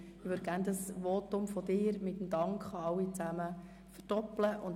Ich möchte gerne das Votum des FiKoPräsidenten mit einem Dank an alle verdoppeln.